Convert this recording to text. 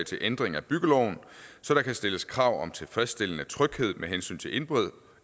til ændring af byggeloven så der kan stilles krav om tilfredsstillende tryghed med hensyn til indbrud